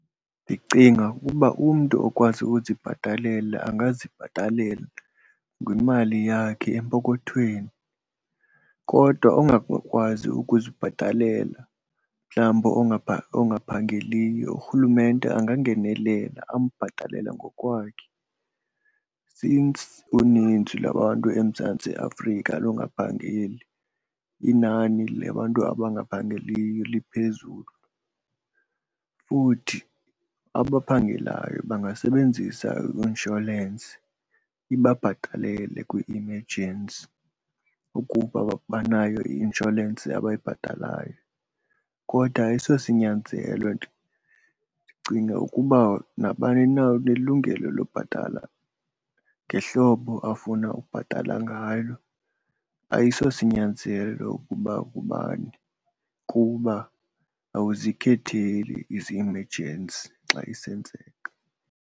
Ndicinga uba umntu okwazi uzibhatalela angazibhatalela ngemali yakhe empokothweni kodwa ongakwazi ukuzibhatalela, mhlawumbi ongaphangeliyo, urhulumente angangenelela ambhatalele ngokwakhe since uninzi lwabantu eMzantsi Afrika lungaphangeli, inani labantu abangaphangeliyo liphezulu. Futhi abaphangelayo bangasebenzisa i-insholensi ibabhatalele kwi-emergency ukuba banayo i-insholensi abayibhatalayo, kodwa ayisosinyanzelo nto. Ndicinga ukuba nabani na unelungelo lobhatala ngehlobo afuna ubhatala ngalo, ayisosinyanzelo ukuba ubani kuba awuzikhetheli izi-emergency xa isenzeka.